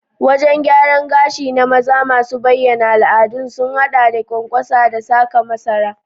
Wajen gyaran gashi na maza masu bayyana al'ada sun haɗa da ƙwanƙwasa da saka masara.